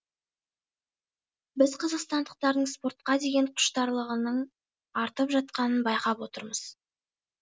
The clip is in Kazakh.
біз қазақстандықтардың спортқа деген құштарлығының артып жатқанын байқап отырмыз